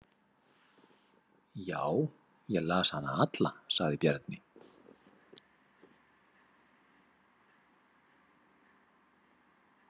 Já, ég las hana alla, sagði Bjarni.